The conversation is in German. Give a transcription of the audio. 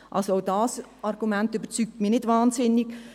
Auch dieses Argument überzeugt mich nicht wahnsinnig.